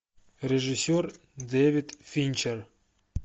режиссер дэвид финчер